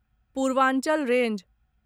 Purvanchal range